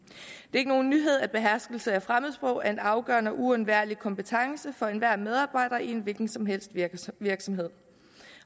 er ikke nogen nyhed at beherskelse af fremmedsprog er en afgørende og uundværlig kompetence for enhver medarbejder i en hvilken som helst virksomhed